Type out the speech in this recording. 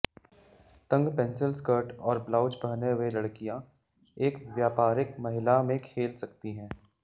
तंग pencil skirt और blouse पहने हुए लड़कियां एक व्यापारिक महिला में खेल सकती हैं